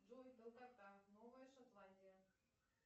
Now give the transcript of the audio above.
джой долгота новая шотландия